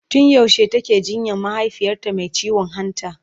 tun yaushe take jinyan mahaifiyarta Mai ciwon hanta?